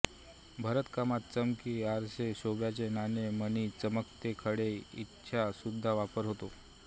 भरतकामात चमकी आरसे शोभेच्या नळ्या मणी चमकते खडे इ चा सुद्धा वापर होतो